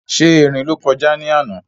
Ṣé erin ló kọjá ní àná?